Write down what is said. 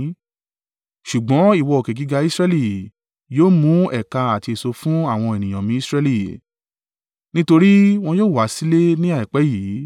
“ ‘Ṣùgbọ́n ìwọ, òkè gíga Israẹli, yóò mú ẹ̀ka àti èso fún àwọn ènìyàn mi Israẹli, nítorí wọn yóò wá sílé ní àìpẹ́ yìí.